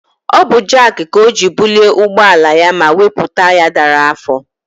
Ọ bụ jak ka o ji bulie ụgbọ ala ya ma wepụ taya dara afọ.